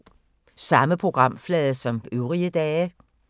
Samme programflade som øvrige dage